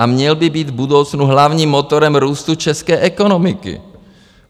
A měl by být v budoucnu hlavním motorem růstu české ekonomiky.